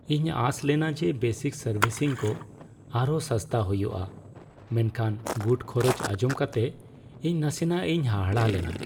ᱤᱧ ᱟᱸᱥ ᱞᱮᱱᱟ ᱡᱮ ᱵᱮᱥᱤᱠ ᱥᱟᱨᱵᱷᱤᱥᱤᱝ ᱠᱚ ᱟᱨᱦᱚᱸ ᱥᱟᱥᱛᱟ ᱦᱩᱭᱩᱜᱼᱟ, ᱢᱮᱱᱠᱷᱟᱱ ᱜᱩᱴ ᱠᱷᱚᱨᱚᱪ ᱟᱧᱡᱚᱢ ᱠᱟᱛᱮ ᱤᱧ ᱱᱟᱥᱮᱱᱟᱜ ᱤᱧ ᱦᱟᱦᱟᱲᱟᱜ ᱞᱮᱱᱟ ᱾